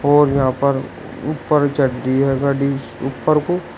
और यहां पर ऊपर चढ़ती है गाड़ी ऊपर को--